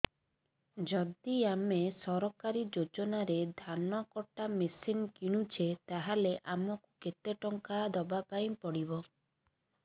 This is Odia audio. ଯଦି ଆମେ ସରକାରୀ ଯୋଜନାରେ ଧାନ କଟା ମେସିନ୍ କିଣୁଛେ ତାହାଲେ ଆମକୁ କେତେ ଟଙ୍କା ଦବାପାଇଁ ପଡିବ